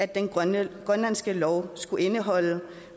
den grønlandske grønlandske lov skulle indeholde